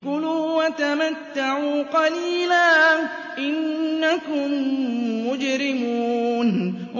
كُلُوا وَتَمَتَّعُوا قَلِيلًا إِنَّكُم مُّجْرِمُونَ